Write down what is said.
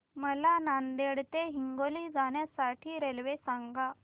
मला नांदेड ते हिंगोली जाण्या साठी रेल्वे सांगा